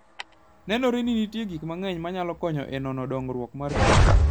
Nenore ni nitie gik mang'eny manyalo konyo e nono dongruok mar kich.